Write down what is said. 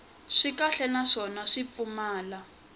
swi kahle naswona swi pfumala